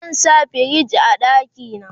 zan sa firij a ɗakina